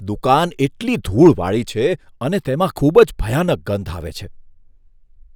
દુકાન એટલી ધૂળવાળી છે અને તેમાં ખૂબ જ ભયાનક ગંધ આવે છે.